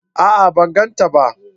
A'a! Ban gan ta ba.